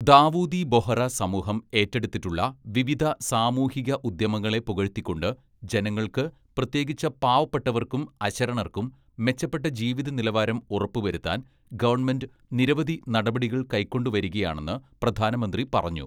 "ദാവൂദി ബൊഹ്‌റ സമൂഹം ഏറ്റെടുത്തിട്ടുള്ള വിവിധ സാമൂഹിക ഉദ്യമങ്ങളെ പുകഴ്ത്തിക്കൊണ്ട് ജനങ്ങള്‍ക്ക്, പ്രത്യേകിച്ച് പാവപ്പെട്ടവര്‍ക്കും അശരണര്‍ക്കും, മെച്ചപ്പെട്ട ജീവിത നിലവാരം ഉറപ്പ് വരുത്താന്‍ ഗവണ്മെന്റ് നിരവധി നടപടികള്‍ കൈക്കൊണ്ടുവരികയാണെന്ന് പ്രധാനമന്ത്രി പറഞ്ഞു. "